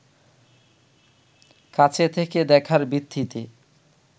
কাছে থেকে দেখার ভিত্তিতে